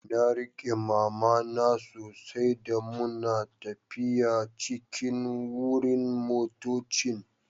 Na rike mama na sosai da muna taffiya cikin wurin motoccin.